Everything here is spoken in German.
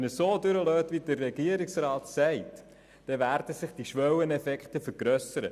Wenn Sie diesen wie vom Regierungsrat gewollt durchgehen lassen, dann werden sich die Schwelleneffekte vergrössern.